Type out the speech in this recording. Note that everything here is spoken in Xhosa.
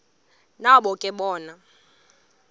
nabo ke bona